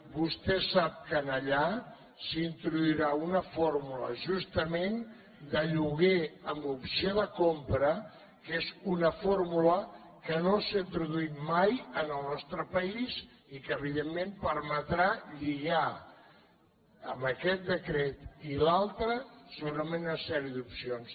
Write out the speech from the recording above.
vostè sap que allà s’introduirà una fórmula justament de lloguer amb opció de compra que és una fórmula que no s’ha introduït mai en el nostre país i que evidentment permetrà lligar amb aquest decret i l’altre segurament una sèrie d’opcions